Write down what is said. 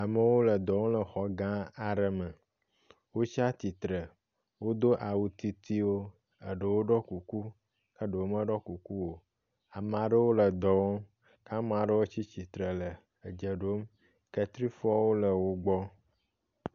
Amewo le dɔ wɔm le exɔ gã aɖe me. Wotsia tsitre, wodo awu titiwo, aɖewo ɖɔ kuku ke aɖewo meɖɔ kuku o. Ame aɖewo le dɔ wɔm ke ame aɖewo tsi tsitre le edze ɖom kletsifɔwo le wo gbɔ.